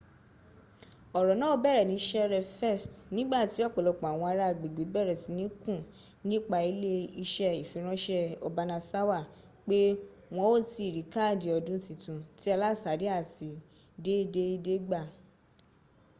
oro naa bere ni sere 1st nigbati opolopo awon ara agbegbe bere sini kun nipa ile ise ifiranse obanasawa pe won o tii ri kaadi odun titun ti alasade ati ti deede gba